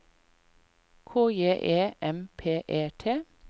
K J E M P E T